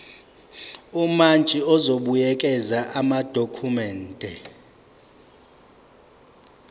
umantshi uzobuyekeza amadokhumende